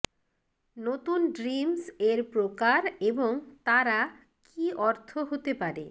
নুতন ড্রিমস এর প্রকার এবং তারা কি অর্থ হতে পারে